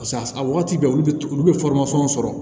a wagati bɛɛ olu bɛ sɔrɔ